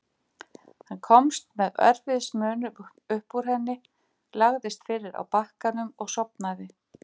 Hann komst með erfiðismunum upp úr henni, lagðist fyrir á bakkanum og sofnaði.